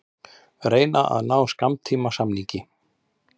Reyna að ná skammtímasamningi